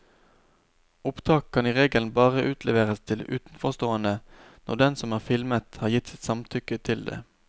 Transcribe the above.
Opptak kan i regelen bare utleveres til utenforstående når den som er filmet har gitt sitt samtykke til det.